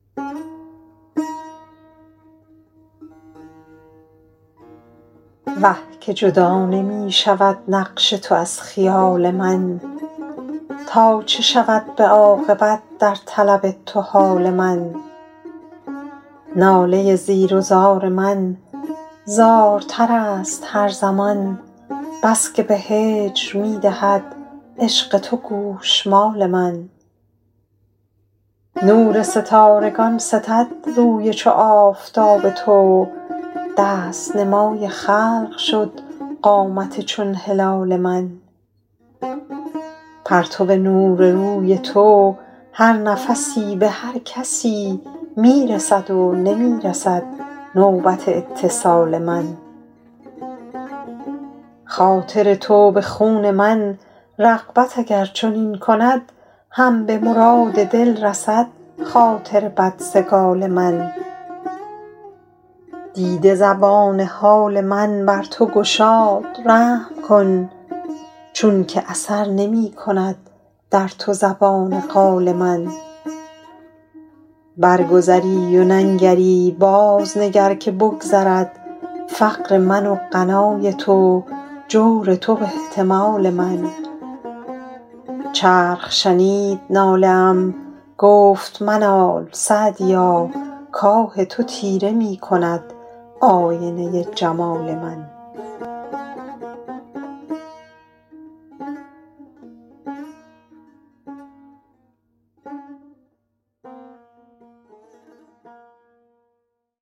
وه که جدا نمی شود نقش تو از خیال من تا چه شود به عاقبت در طلب تو حال من ناله زیر و زار من زارتر است هر زمان بس که به هجر می دهد عشق تو گوشمال من نور ستارگان ستد روی چو آفتاب تو دست نمای خلق شد قامت چون هلال من پرتو نور روی تو هر نفسی به هر کسی می رسد و نمی رسد نوبت اتصال من خاطر تو به خون من رغبت اگر چنین کند هم به مراد دل رسد خاطر بدسگال من برگذری و ننگری بازنگر که بگذرد فقر من و غنای تو جور تو و احتمال من چرخ شنید ناله ام گفت منال سعدیا کآه تو تیره می کند آینه جمال من